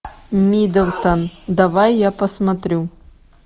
миддлтон давай я посмотрю